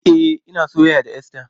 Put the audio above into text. E, ina soyayya da Esther.